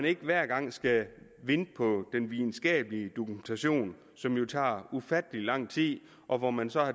ikke hver gang skal vente på den videnskabelige dokumentation som jo tager ufattelig lang tid og hvor man så